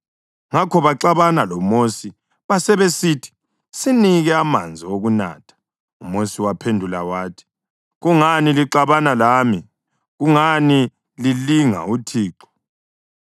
Ngakho baxabana loMosi basebesithi, “Sinike amanzi okunatha.” UMosi waphendula wathi “Kungani lixabana lami? Kungani lilinga uThixo?”